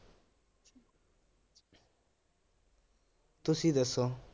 ਤੁਸੀ ਦੱਸੋ